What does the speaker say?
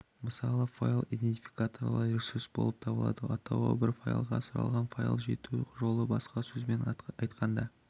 мысалы файлы идентификаторлы ресурс болып табылады атауы бар файл сұралған файлға жету жолы басқа сөзбен айтқанда